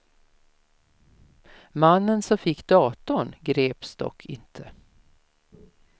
Mannen som fick datorn greps dock inte.